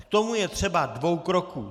K tomu je třeba dvou kroků.